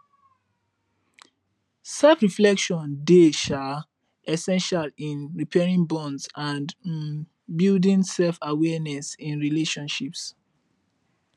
selfreflection dey um essential in repairing bonds and um building selfawareness in relationships